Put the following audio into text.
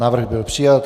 Návrh byl přijat.